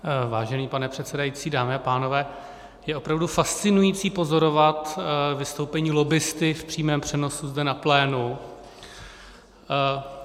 Vážený pane předsedající, dámy a pánové, je opravdu fascinující pozorovat vystoupení lobbisty v přímém přenosu zde na plénu.